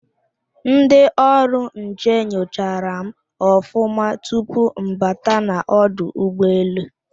Ndị ọrụ nche nyochara m ọfụma tupu mbata n'ọdụ ụgbọ-elu.